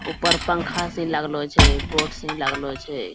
ऊपर पंखा सि लगलो छै बोड सि लगलो छै।